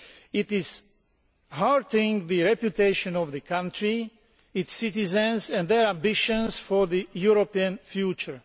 It is hurting the reputation of the country, its citizens and their ambitions for a European future.